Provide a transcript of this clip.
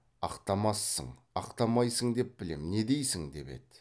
ақтамассың ақтамайсың деп білем не дейсің деп еді